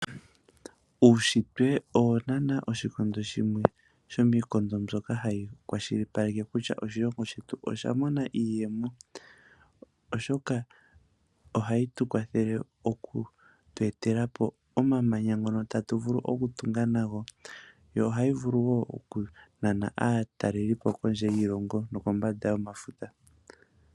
Uunshitwe owo naana womiikondo mbyono hayi shilipaleke kutya oshilongo shetu osha mona iiyemo.